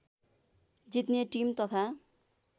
जित्ने टिम तथा